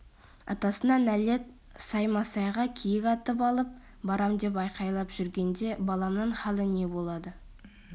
атасына нәлет саймасайға киік атып алып барам деп айқайлап жүргенде баламның халі не болады